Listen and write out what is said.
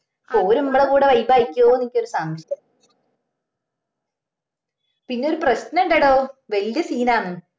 or മ്മളെ കൂടെ vibe ആയിരിക്കൊന്ന് എനിക്കൊരു സംശയം പിന്നെ ഒരു പ്രശ്നണ്ടടോ വെല്യ scene ആന്ന്